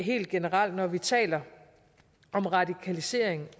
helt generelt at når vi taler om radikalisering